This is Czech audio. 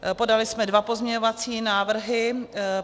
Podali jsme dva pozměňovací návrhy.